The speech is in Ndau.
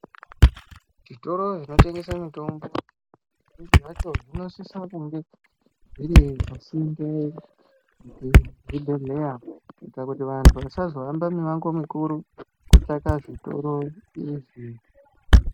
Zvitoro zvinotengesa mitombo zvimwe zvecho zvinosisa kunge zviripasinde nezvibhehlera kuitira kuti vanhu vasazohamba mumango mukuru vachitsvaka zvitoro izvi